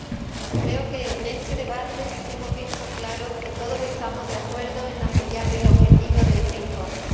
Señora Presidenta, creo que en este debate hemos visto claro que todos estamos de acuerdo en apoyar el objetivo de este informe.